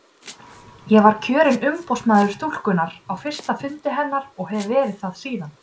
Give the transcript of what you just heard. Ég var kjörinn umboðsmaður stúkunnar á fyrsta fundi hennar og hef verið það síðan.